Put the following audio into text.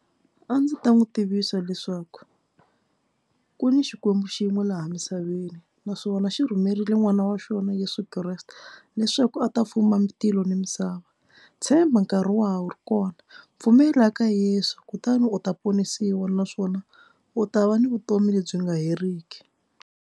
A ndzi ta n'wi tivisa leswaku ku ni Xikwembu xi yin'we laha misaveni naswona xi rhumerile n'wana wa xona Yesu Kreste leswaku a ta fuma tilo ni misava. Tshemba nkarhi wa ha wu ri kona pfumela ka Yeso kutani u ta ponisiwa naswona u ta va ni vutomi lebyi nga heriki.